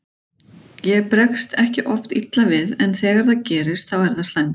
Ég bregst ekki oft illa við en þegar það gerist þá er það slæmt.